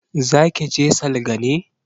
Za ke je salga ne?